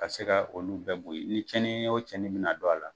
Ka se ka olu bɛɛ bo ye ni cɛni o cɛni mina don a la